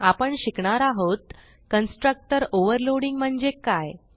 आपण शिकणार आहोत कन्स्ट्रक्टर ओव्हरलोडिंग म्हणजे काय